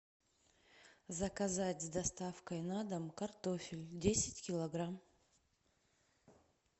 заказать с доставкой на дом картофель десять килограмм